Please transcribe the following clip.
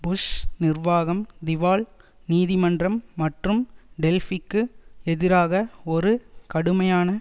push நிர்வாகம் திவால் நீதிமன்றம் மற்றும் டெல்பிக்கு எதிராக ஒரு கடுமையான